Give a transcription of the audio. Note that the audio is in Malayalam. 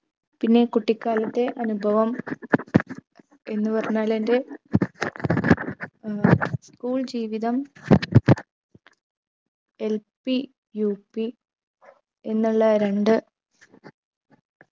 പിന്നെ കുട്ടിക്കാലത്തെ അനുഭവം എന്നു പറഞ്ഞാലെന്റെ ഏർ school ജീവിതം LPUP എന്നുള്ള രണ്ട്